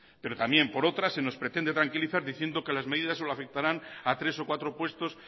pero también por otra se nos pretende tranquilizar diciendo que las medidas solo afectarán a tres o cuatro puestos